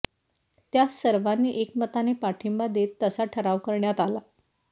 त्यास सर्वांनी एकमताने पाठिंबा देत तसा ठराव करण्यात आला